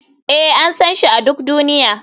Ee, an san shi a duk duniya.